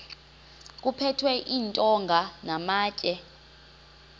kuphethwe iintonga namatye